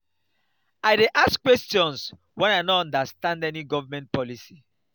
i dey ask questions wen i no understand any government policy.